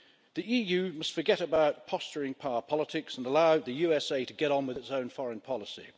The EU must forget about posturing power politics and allow the USA to get on with its own foreign policy.